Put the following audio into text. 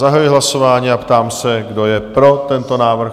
Zahajuji hlasování a ptám se, kdo je pro tento návrh?